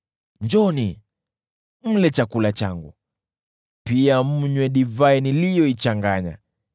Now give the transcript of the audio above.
Njooni, mle chakula changu na mnywe divai niliyoichanganya.